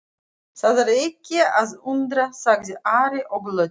Það er ekki að undra, sagði Ari og glotti.